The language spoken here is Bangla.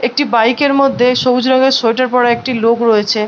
একটি বাইক এর মধ্যে একটি সবুজ রঙের সায়াটার পরা একটি লোক রয়েছে ।